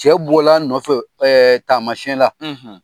Cɛ bɔl'a nɔfɛ taamasiyɛ la.